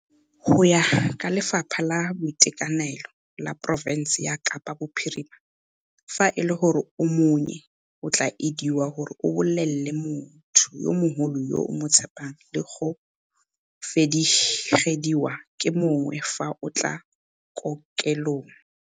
Go ya ka Lefapha la Boitekanelo la porofense ya Kapa Bophirima, fa e le gore o monnye o tla elediwa gore o bolelele motho yo mogolo yo o mo tshepang le go felegediwa ke mongwe fa o tla kokelong.